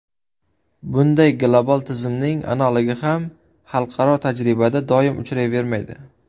Bunday global tizimning analogi ham xalqaro tajribada doim uchrayvermaydi.